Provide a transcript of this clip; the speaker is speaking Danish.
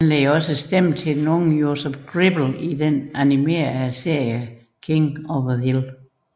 Han leverer også stemme til den unge Joseph Gribble i den animerede serie King of the Hill